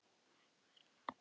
Einhver lamdi húsið að utan.